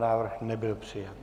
Návrh nebyl přijat.